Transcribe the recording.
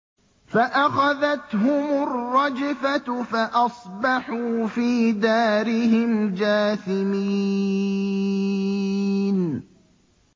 فَأَخَذَتْهُمُ الرَّجْفَةُ فَأَصْبَحُوا فِي دَارِهِمْ جَاثِمِينَ